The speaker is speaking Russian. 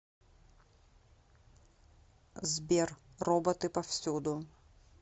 сбер роботы повсюду